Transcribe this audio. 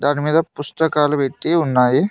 దాని మీద పుస్తకాలు పెట్టి ఉన్నాయి.